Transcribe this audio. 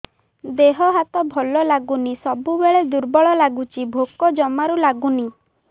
ଦେହ ହାତ ଭଲ ଲାଗୁନି ସବୁବେଳେ ଦୁର୍ବଳ ଲାଗୁଛି ଭୋକ ଜମାରୁ ଲାଗୁନି